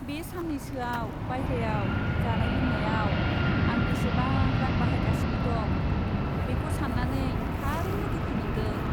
बे साननैसोआव बायह्रायाव जानाय लोंनायाव आं बेसेबां रां बाहायगासिनो दं, बेखौ सान्नानै थारैनो दुखु मोन्दों !